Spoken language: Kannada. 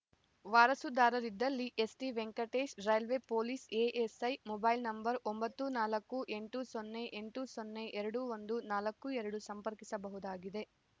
ವಾರಸುದಾರರಿದ್ದಲ್ಲಿ ST Venkatesh railway police ASI mobile number ಒಂಬತ್ತು ನಾಲ್ಕು ಎಂಟು ಸೊನ್ನೆ ಎಂಟು ಸೊನ್ನೆ ಎರಡು ಒಂದು ನಾಲ್ಕು ಎರಡು ಸಂಪರ್ಕಿಸಬಹುದಾಗಿದೆ